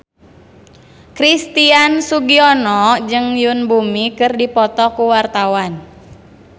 Christian Sugiono jeung Yoon Bomi keur dipoto ku wartawan